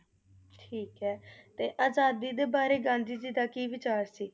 ਠੀਕ ਏ ਤੇ ਆਜ਼ਾਦੀ ਦੇ ਬਾਰੇ ਗਾਂਧੀ ਜੀ ਦਾ ਕੀ ਵਿਚਾਰ ਸੀ?